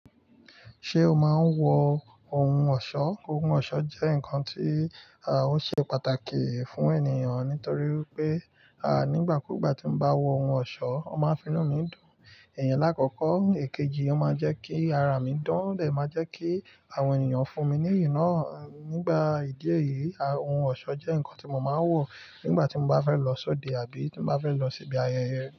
Ṣé o máa ń wọ ohun ọ̀ṣọ́? Ohun ọ̀ṣọ́ jẹ́ nǹkan tí ò ṣe pàtàkì fún ènìyàn nítorí pé, à nígbà kúùgbà tí mo bá wọ ohun ọ̀ṣọ́, ó máa ń finú mi dùn. Iyen lákọkọ, èkejì ó máa jẹ́ kí ara mi dán, o de máa jẹ́ kí àwọn ènìyàn fún mi ní ìyi naa nigba ìdí èyí, ohun ọ̀ṣọ́ jẹ́ nǹkan tí mo máa ń wọ nígbà tí mo bá fẹ́ lọ sóde àbí tí mo bá fẹ́ lọ síbi ayẹyẹ.